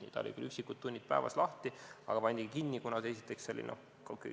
See oli küll vaid üksikud tunnid päevas lahti, aga nüüd pandi päris kinni.